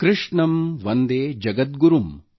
ಕೃಷ್ಣಂ ವಂದೇ ಜಗದ್ಗುರುಂ